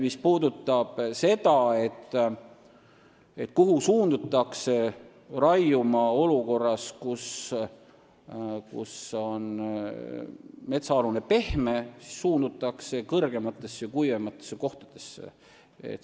Mis puudutab küsimust, kuhu suundutakse raiuma olukorras, kus metsaalune on pehme, siis kõrgematesse ja kuivematesse kohtadesse.